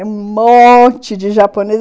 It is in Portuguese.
É um monte de japonês!